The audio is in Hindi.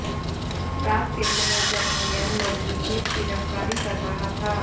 रात के समय जब भैयन लोधी खेत की रखवाली कर रहा था